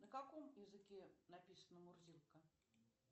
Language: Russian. на каком языке написана мурзилка